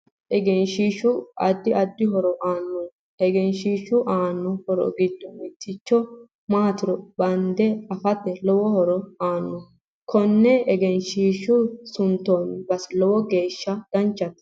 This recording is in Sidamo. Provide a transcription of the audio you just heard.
Egenshiishu addi addi horo aanno egeshiishu aanno horo giddo mittoricho maatiro bande afate lowo horo aanno konne egenshiisha suntooni base lowo geesha danchate